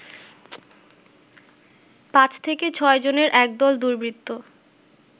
৫ থেকে ৬ জনের একদল দুর্বৃত্ত